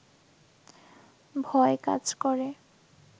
ভয় কাজ করে